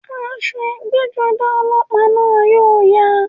Aṣọ ẹgbẹ́-jọdá ọlọ́pàá náà yóò ya.